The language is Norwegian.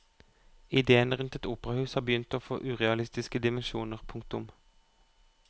Idéene rundt et operahus har begynt å få urealistiske dimensjoner. punktum